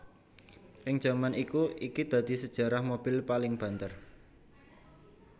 Ing jaman iku iki dadi sejarah mobil paling banter